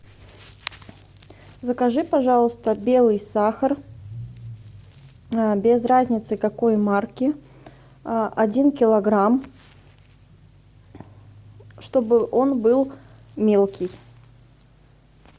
закажи пожалуйста белый сахар без разницы какой марки один килограмм чтобы он был мелкий